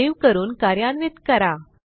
save करून कार्यान्वित करा